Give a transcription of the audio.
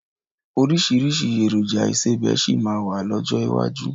Oríṣiríṣi èròjà ìsebẹ́ síí má jáde lọ́jọ́ iwájú